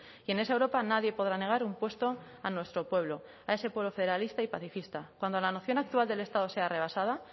y en esa europa nadie podrá negar un puesto a nuestro pueblo a ese pueblo federalista y pacifista cuando la noción actual del estado sea rebasada